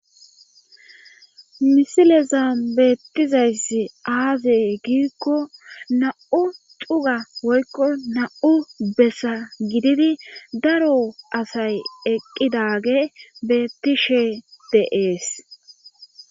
misilezan beettizayssi aazey giikko nam''u cuga woykko nam''u bessa gididi daro asay eqqidage beettishe de7ees.